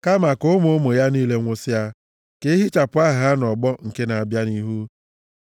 Kama ka ụmụ ụmụ ya niile nwụsịa, ka a ehichapụkwa aha ha nʼọgbọ nke na-abịa nʼihu.